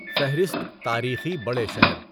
فہرست تاریخی بڑے شہر